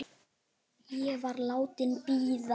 Ég var látin bíða.